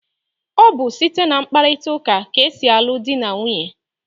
Ọ bụ site na mkparịkọtaụka ka e si alụ dị na nwunye.